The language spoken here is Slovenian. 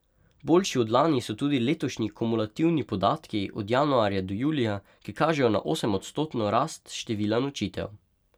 Boljši od lani so tudi letošnji komulativni podatki od januarja do julija, ki kažejo na osemodstotno rast števila nočitev.